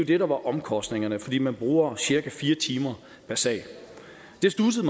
det der var omkostningerne fordi man bruger cirka fire timer per sag det studsede